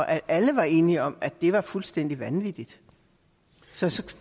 alle var enige om at det var fuldstændig vanvittigt så